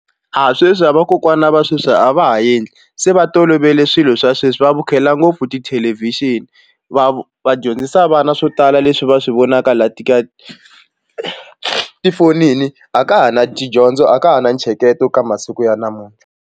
A sweswi a vakokwana va sweswi a va ha endli se va tolovele swilo swa sweswi va vukhela ngopfu tithelevhixini va va dyondzisa vana swo tala leswi va swi vonaka laha ti ka tifonini a ka ha ri na tidyondzo a ka ha na ntsheketo ka masiku ya namuntlha.